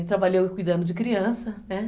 E trabalhei cuidando de criança, né?